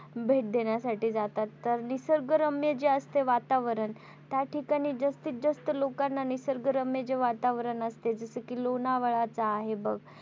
भेट देण्यासाठी जातात तर निसर्गरम्य जे असते वातावरण त्या ठिकाणी जास्तीत जास्त लोकांना निसर्गरम्य जे वातावरण असते जस कि लोणावळा च आहे बघ.